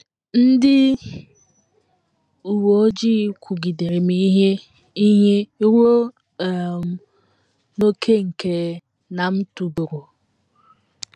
Ndị uwe ojii kụgidere m ihe ihe ruo um n’ókè nke na m tụbọrọ.